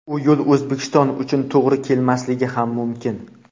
U yo‘l O‘zbekiston uchun to‘g‘ri kelmasligi ham mumkin.